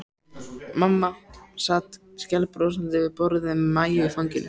Mamma sat skælbrosandi við borðið með Maju í fanginu.